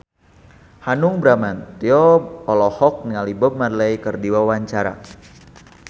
Hanung Bramantyo olohok ningali Bob Marley keur diwawancara